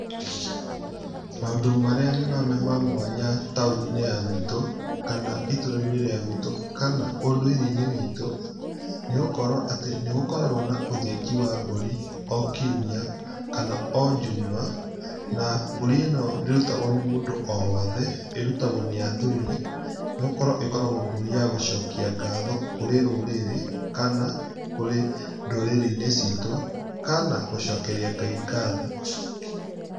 Maũndũ marĩa nyonaga ma mwanya taũni-inĩ ya gwitũ kana itũũra-inĩ rĩa gwitũ kana ũndũire-inĩ witũ, nĩgũkorwo atĩ nĩgũkoragwo na ũthĩnji wa mbũri o kiumia kana o njuma. Na mbũri-ino ndĩrutagwo nĩ mũndũ o wothe, ĩrutagwo nĩ athuri, nĩgũkorwo ĩkoragwo mbũri ya gũcokia ngatho kũrĩ rũrĩrĩ, kana kũrĩ ndũrĩrĩ-inĩ citũ, kana gũcokeria Ngai ngatho.